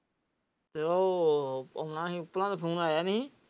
ਤੇ ਉਹ ਉਹਨਾਂ ਦਾ ਫ਼ੋਨ ਆਇਆ ਨਹੀਂ।